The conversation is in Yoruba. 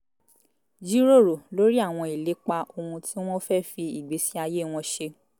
jíròrò lórí àwọn ìlépa ohun tí wọ́n fẹ́ fi ìgbésí ayé wọn ṣe